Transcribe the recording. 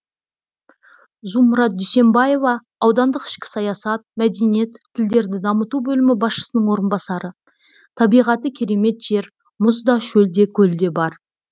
зумрад дүйсенбаева аудандық ішкі саясат мәдениет тілдерді дамыту бөлімі басшысының орынбасары табиғаты керемет жер мұз да шөл де көл де бар